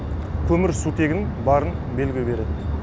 көмірсутегін барын белгі береді